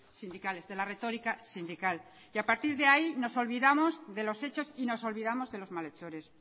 sindicales de la retorica sindical y a partir de ahí nos olvidamos de los hechos y nos olvidamos de los malhechores